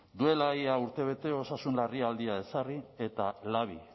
duela ia urte bete osasun larrialdia ezarri eta labi